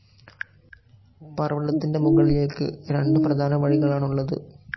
പർവതത്തിൻ്റെ മുകളിൽഎക്കു രണ്ടു പ്രധാനവഴികളാണു ഉള്ളതു.